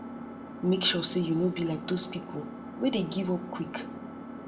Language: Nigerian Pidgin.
mek sure say yu no be like dose dose pipo wey dey give up quick